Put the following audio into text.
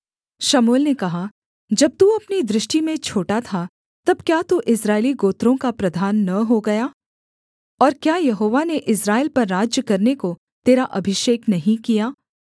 शमूएल ने कहा जब तू अपनी दृष्टि में छोटा था तब क्या तू इस्राएली गोत्रों का प्रधान न हो गया और क्या यहोवा ने इस्राएल पर राज्य करने को तेरा अभिषेक नहीं किया